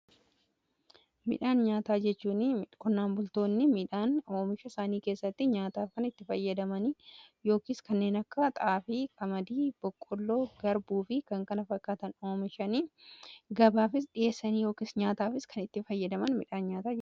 Midhaan nyaataa jechuun qonnaan bultoonni midhaan oomisha isaanii keessatti nyaataaf kan itti fayyadamani yookiis kanneen akka xaafii, qamadii, boqqolloo, garbuu fi kan kana fakkaatan oomishanii gabaaf dhiheessanii yookiis nyaataaf kan itti fayyadaman midhaan nyaata.